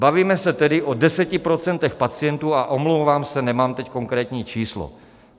Bavíme se tedy o 10 % pacientů a omlouvám se, nemám teď konkrétní číslo.